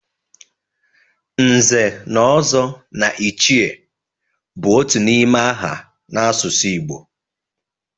Nze na Ozo na Ichie bụ otu n'ime aha n'asụsụ Igbo